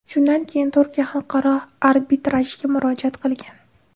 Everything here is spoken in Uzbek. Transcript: Shundan keyin Turkiya Xalqaro arbitrajga murojaat qilgan.